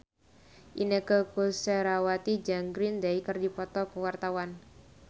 Inneke Koesherawati jeung Green Day keur dipoto ku wartawan